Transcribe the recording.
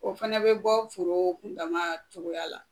O fɛnɛ bi bɔ foro kun dama cogoya la